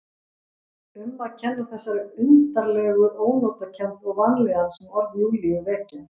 Um að kenna þessari undarlegu ónotakennd og vanlíðan sem orð Júlíu vekja.